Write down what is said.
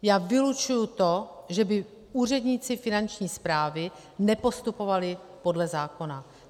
Já vylučuji to, že by úředníci Finanční správy nepostupovali podle zákona.